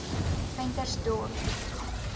ventersdorp